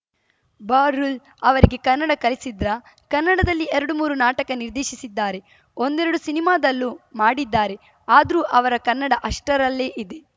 ಬಹ್ರುಲ್‌ ಅವರಿಗೆ ಕನ್ನಡ ಕಲಿಸಿದ್ರಾ ಕನ್ನಡದಲ್ಲಿ ಎರಡು ಮೂರು ನಾಟಕ ನಿರ್ದೇಶಿಸಿದ್ದಾರೆ ಒಂದೆರಡು ಸಿನಿಮಾದಲ್ಲೂ ಮಾಡಿದ್ದಾರೆ ಆದ್ರೂ ಅವರ ಕನ್ನಡ ಅಷ್ಟರಲ್ಲೇ ಇದೆ